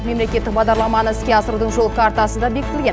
мемлекеттік бағдарламаны іске асырудың жол картасы да бекітілген